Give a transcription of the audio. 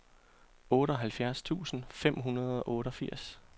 otteoghalvfjerds tusind fem hundrede og otteogfirs